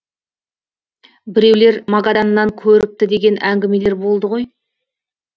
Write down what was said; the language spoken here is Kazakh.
біреулер магаданнан көріпті деген әңгімелер болды ғой